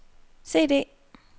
CD